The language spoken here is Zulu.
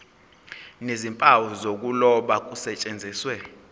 nezimpawu zokuloba kusetshenziswe